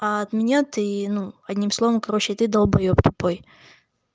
а от меня ты ну одним словом короче ты долбаеб тупой